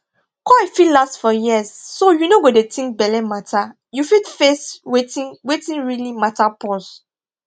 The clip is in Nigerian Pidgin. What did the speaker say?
coil fit last for years so you no go dey think belle matter you fit face wetin wetin really matter pause